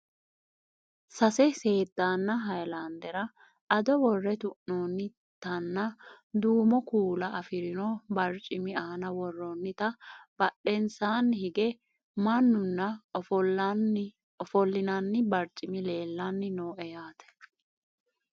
sase seeddaanna hayiilaandera ado worre tu'noonnitanna duumo kuula afirino barcimi aana worroonnita badhensaani hige mannunna ofollinanni barcimi leellanni no yaate